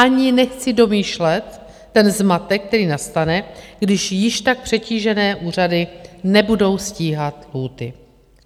Ani nechci domýšlet ten zmatek, který nastane, když již tak přetížené úřady nebudou stíhat lhůty.